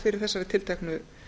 fyrir þessari tilteknu